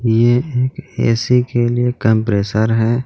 यह एक ऐ_सी के लिए कंप्रेशर है.